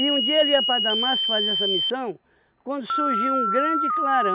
um dia ele ia para Damasco fazer essa missão, quando surgiu um grande